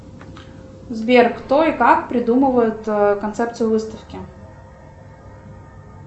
сбер кто и как придумывает концепцию выставки